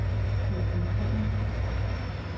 koncentrere